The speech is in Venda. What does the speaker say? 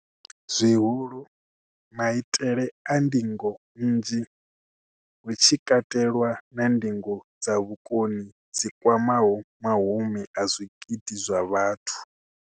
Zwihulu, maitele a ndingo nnzhi, hu tshi katelwa na ndingo dza vhukoni dzi kwamaho mahumi a zwigidi zwa vhathu.